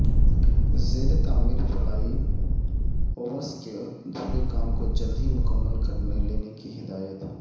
زیر تعمیر flyovers کے ادھورے کاموں کو جلدہی مکمل کرلینے کی ہدایت